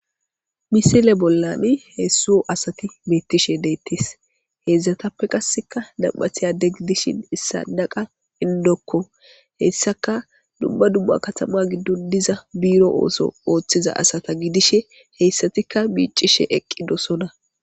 Misile bollani heessu asati beettishe deettis heezatappe qasseka nampathiyade gidishin issa naqa indokko heyssaka dumba dumma katama giddon diza biiro ooso ooththiza asata gidishe heyssatikka biiccishe eqqi dosona